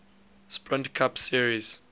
sprint cup series